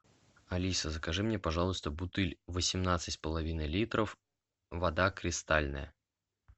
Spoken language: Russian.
алиса закажи мне пожалуйста бутыль восемнадцать с половиной литров вода кристальная